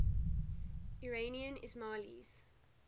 iranian ismailis